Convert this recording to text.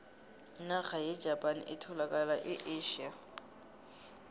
inarha yejapani etholakala e asia